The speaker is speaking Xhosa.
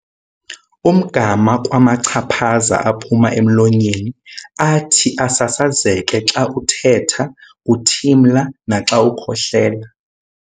umgama kwamachaphaza aphuma emlonyeni athi asasazeke xa uthetha, uthimla, naxa ukhohlela.